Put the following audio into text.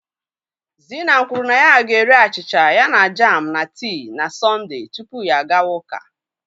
Zina kwuru na ya ga-eri achịcha ya na jam na tii na Sọnde tupu ya agawa ụka.